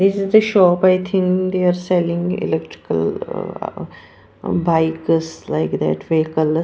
This is the shop I think they are selling electrical uh bikes like that vehicle.